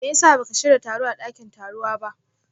meyasa baka shiya taro a dakin tarowa ba?